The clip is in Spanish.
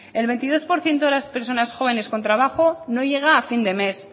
el veintidós por ciento de las personas jóvenes con trabajo no llega a fin de mes